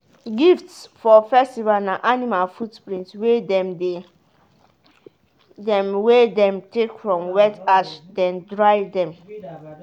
gifts for festival na animal footprint wey dem wey dem take from wet ash then dry them.